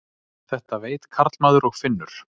Þetta veit karlmaður og finnur.